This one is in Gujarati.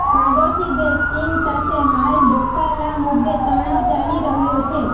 પાડોશી દેશ ચીન સાથે હાલ ડોકા લા મુદ્દે તણાવ ચાલી રહ્યો છે